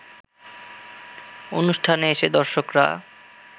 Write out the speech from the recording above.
অনুষ্ঠানে এসে দর্শকরা